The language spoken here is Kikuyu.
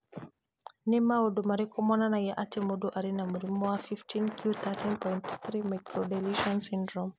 Nĩ maũndũ marĩkũ monanagia atĩ mũndũ arĩ na mũrimũ wa 15q13.3 microdeletion syndrome?